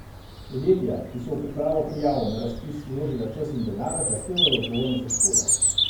Podjetja, ki so v pripravo prijav na razpis vložila čas in denar, zahtevajo odgovornost za škodo.